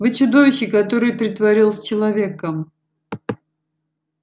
вы чудовище которое притворилось человеком